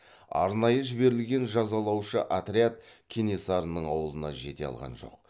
арнайы жіберілген жазалаушы отряд кенесарының ауылына жете алған жоқ